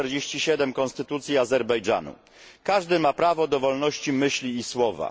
47 konstytucji Azerbejdżanu Każdy ma prawo do wolności myśli i słowa.